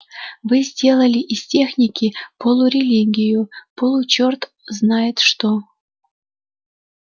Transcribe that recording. вы сделали из техники полурелигию получерт знает что